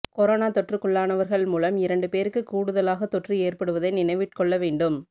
corona தொற்றுக்குள்ளானவர்கள் மூலம் இரண்டு பேருக்குக் கூடுதலாகதொற்று ஏற்படுவதை நினைவிற்கொள்ள வேண்டும்